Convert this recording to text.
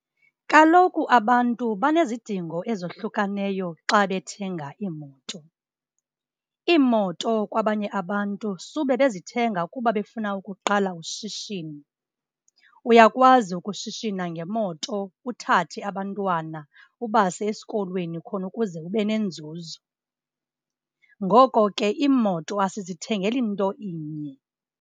Kaloku abantu banezidingo ezohlukaneyo xa bethenga iimoto. Iimoto kwabanye abantu sube bezithenga kuba befuna ukuqala ushishino, uyakwazi ukushishina ngemoto uthathe abantwana ubase esikolweni khona ukuze ube nenzuzo. Ngoko ke iimoto asizithengeli nto inye.